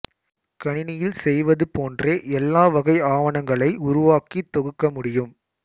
கணினியில் செய்வது போன்றே எல்லா வகை ஆவணங்களை உருவாக்கித் தொகுக்க முடியும்